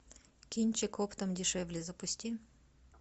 кинчик оптом дешевле запусти